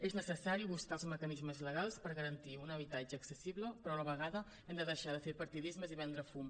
és necessari buscar els mecanismes legals per garantir un habitatge accessible però a la vegada hem de deixar de fer partidismes i vendre fum